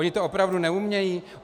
Oni to opravdu neumějí?